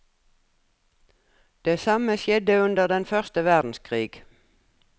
Det samme skjedde under den første verdenskrig.